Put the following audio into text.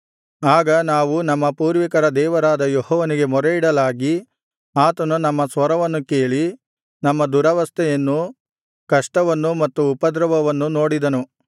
ಆಗ ನಾವು ನಮ್ಮ ಪೂರ್ವಿಕರ ದೇವರಾದ ಯೆಹೋವನಿಗೆ ಮೊರೆಯಿಡಲಾಗಿ ಆತನು ನಮ್ಮ ಸ್ವರವನ್ನು ಕೇಳಿ ನಮ್ಮ ದುರವಸ್ಥೆಯನ್ನೂ ಕಷ್ಟವನ್ನೂ ಮತ್ತು ಉಪದ್ರವವನ್ನೂ ನೋಡಿದನು